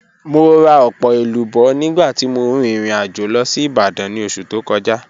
Mo ra ọpọ elubo nigba ti mo rin irin ajo lọ si Ibadan ni oṣu to kọja.